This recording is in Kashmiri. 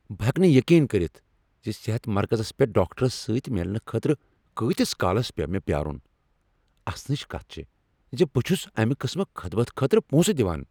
بہٕ ہیٚکہٕ نہٕ یقین کٔرتھ ز صحت مرکزس پیٹھ ڈاکٹرس سۭتۍ میلنہٕ خٲطرٕ کۭتِس کالس پیوٚو مےٚ پیٛارن! اسنچ کتھ چھےٚ ز بہٕ چھس امہ قٕسمہٕ خدمتہ خٲطرٕ پونٛسہٕ دوان۔ "